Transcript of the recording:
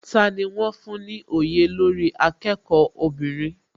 Tani wón fún ní òye olórí akẹ́kọ̀ọ́ obìnrin?